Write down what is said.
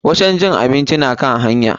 Wajen cin abinci na kan hanya.